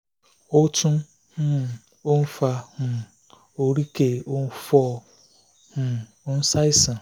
ó tún um ń fa um oríkèé ó ń fò um ó ń ṣàìsàn